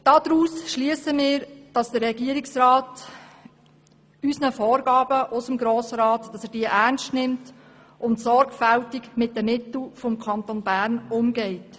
Daraus schliessen wir, dass der Regierungsrat die Vorgaben des Grossen Rats ernst nimmt und sorgfältig mit den Mitteln des Kantons Bern umgeht.